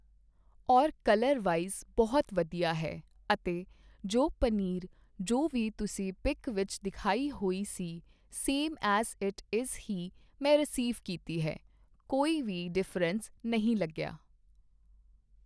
ਔਰ colour wise ਬਹੁਤ ਵਧੀਆ ਹੈ ਅਤੇ ਜੋ ਪਨੀਰ ਜੋ ਵੀ ਤੁਸੀਂ ਪਿੱਕ ਵਿੱਚ ਦਿਖਾਈ ਹੋਈ ਸੀ ਸੇਮ ਐਜ ਇੱਟ ਇਜ਼ ਹੀ ਮੈਂ ਰਸੀਵ ਕੀਤੀ ਹੈ ਕੋਈ ਵੀ ਡਿਫ਼ਰੈਂਸ ਨਹੀਂ ਲੱਗਿਆ